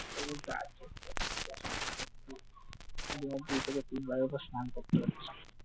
দিনে দুই থেকে তিন বারের উপরে স্নান করতে হচ্ছে,